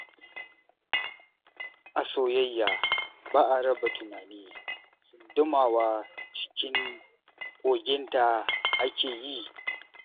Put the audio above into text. A soyayya ba a raba tunani, tsundumawa cikin koginta ake yi.